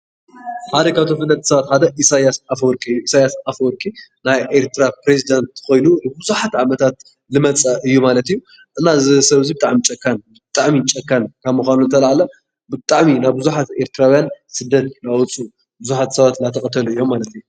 ታሪካቱ ካብ ዝፍልጥ ሓደ ኢሳየስ ኣፈወርቂ እዩ፡፡ ኢሳያስ ኣፈወርቂ ናይ ኤርትራ ፕረዚዳንት እንተኮይኑ ቡዙሓት ዓመታት ዝመፀ እዩ ማለት እዩ፡፡ እዚ ሰብ እዚ ብጣዕሚ ጨካን ብጣዕሚ ጨካን ካብ ምኳኑ ዝተላዓለ ብጣዕሚ ናብ ቡዙሓተ ኤርትራዊያን ስደት እናወፁ ቡዙሓት ሰባት እዳተከሉ እዩም ማለት እዩ፡፡